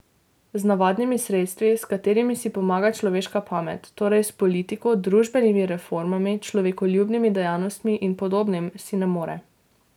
Z navadnimi sredstvi, s katerimi si pomaga človeška pamet, torej s politiko, družbenimi reformami, človekoljubnimi dejavnostmi in podobnim si ne more.